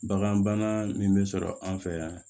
Bagan bana min bɛ sɔrɔ an fɛ yan